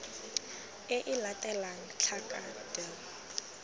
e e latelang tlhaka d